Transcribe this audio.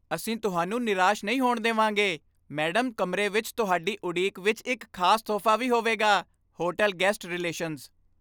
ਅਸੀਂ ਤੁਹਾਨੂੰ ਨਿਰਾਸ਼ ਨਹੀਂ ਹੋਣ ਦੇ ਵਾਂਗੇ, ਮੈਡਮ ਕਮਰੇ ਵਿੱਚ ਤੁਹਾਡੀ ਉਡੀਕ ਵਿੱਚ ਇੱਕ ਖ਼ਾਸ ਤੋਹਫ਼ਾ ਵੀ ਹੋਵੇਗਾ ਹੋਟਲ ਗੈਸਟ ਰਿਲੇਸ਼ਨਜ਼